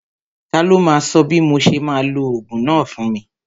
Ta ló máa sọ bí mo ṣe máa lo ogún náà fún mi?